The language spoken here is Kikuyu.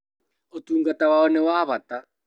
Ũtungata wao nĩ wa bata